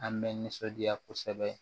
An bɛ nisɔndiya kosɛbɛ